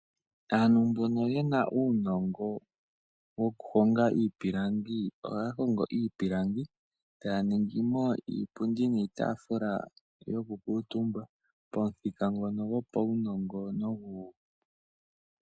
Aantu mboka yena uunongo wokuhonga iipilangi ohaya hongo iipilangi, taya ningi mo iipundi niitafula yo kukutumba pamuthika ngoka gopaunongo.